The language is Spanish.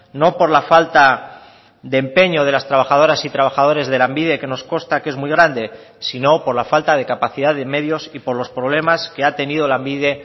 no por la falta de empeño de las trabajadoras y trabajadores de lanbide que nos consta que es muy grande sino por la falta de capacidad de medios y por los problemas que ha tenido lanbide